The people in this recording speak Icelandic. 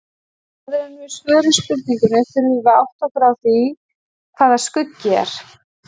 Áður en við svörum spurningunni þurfum við að átta okkur á því hvað skuggi er.